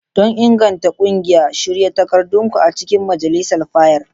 Don inganta ƙungiya, shirya takardunku a cikin majalisar fayil.